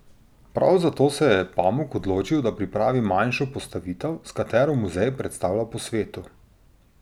Prav zato se je Pamuk odločil, da pripravi manjšo postavitev, s katero muzej predstavlja po svetu.